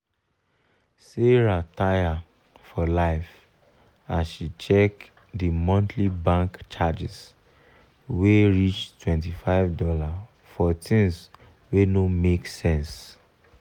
sarah taya for life as she check the monthly bank charges wey reachtwenty five dollarsfor things wey no make sense.